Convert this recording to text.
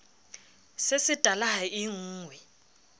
se setala ha e nnqwe